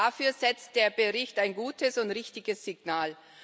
Dafür setzt der Bericht ein gutes und richtiges Signal.